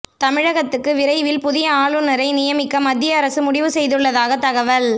தமிழகத்துக்கு விரைவில் புதிய ஆளுநரை நியமிக்க மத்திய அரசு முடிவு செய்துள்ளதாக தகவல்